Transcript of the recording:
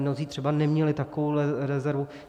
Mnozí třeba neměli takovouhle rezervu.